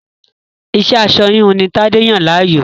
Iṣẹ́ aṣọ-híhun ni Tadé yàn láàyò.